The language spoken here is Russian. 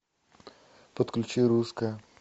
подключи русское